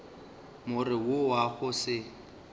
more wo wa go se